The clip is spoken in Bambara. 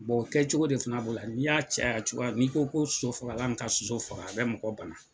kɛ cogo de fana bolo la, n'i y'a caya cogoya n'i ko ko soso fagala min ka soso faga a bɛ mɔgɔ bana.